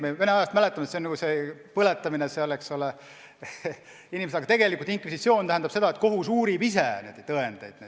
Me vanast ajast mäletame, et see on nagu see põletamine, eks ole, aga tegelikult inkvisitsioon tähendab seda, et kohus uurib ise tõendeid.